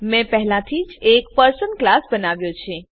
મેં પહેલાથી જ એક પર્સન ક્લાસ બનાવ્યો છે